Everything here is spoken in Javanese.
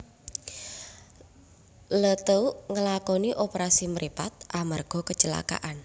Leeteuk ngelakoni operasi mripat amarga kecelakaan